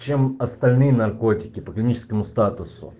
чем остальные наркотики по клиническому статус